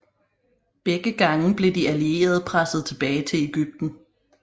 Begge gange blev de allierede presset tilbage til Egypten